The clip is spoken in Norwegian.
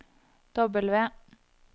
W